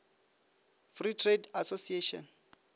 free trade association